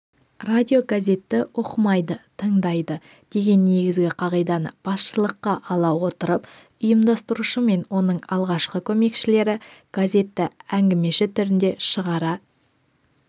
радиогазетті оқымайды тыңдайды деген негізгі қағиданы басшылыққа ала отырып ұйымдастырушы мен оның алғашқы көмекшілері газетті әңгімеші түрінде шығара